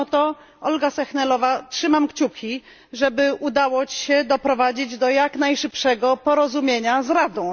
Mimo to, Olgo Sehnalová, trzymam kciuki, żeby udało Ci się doprowadzić do jak najszybszego porozumienia z Radą.